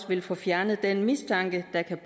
vil få fjernet den mistanke der kan